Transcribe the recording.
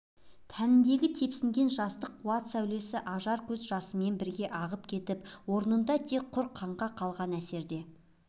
тәніндегі тепсінген жастық қуат сәулелі ажар көз жасымен бірге ағып кетіп орнында тек құр қаңқа қалған әсерде